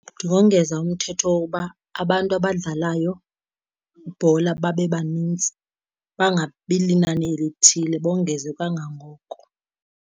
Ndingongeza umthetho wokuba abantu abadlalayo ibhola babe banintsi. Bangabi linani elithile, bongeze kangangoko.